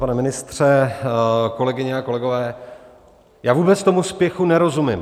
Pane ministře, kolegyně a kolegové, já vůbec tomu spěchu nerozumím.